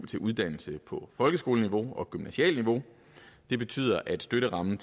til uddannelse på folkeskoleniveau og gymnasialt niveau det betyder at støtterammen